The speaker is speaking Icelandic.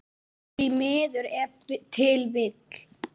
Því miður ef til vill?